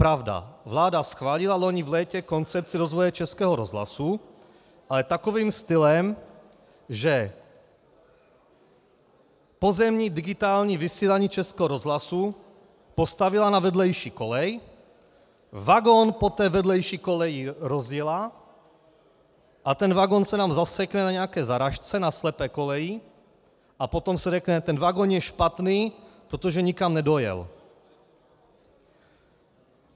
Pravda, vláda schválila loni v létě koncepci rozvoje Českého rozhlasu, ale takovým stylem, že pozemní digitální vysílání Českého rozhlasu postavila na vedlejší kolej, vagon po té vedlejší koleji rozjela a ten vagon se nám zasekne na nějaké zarážce, na slepé koleji, a potom se řekne: ten vagon je špatný, protože nikam nedojel.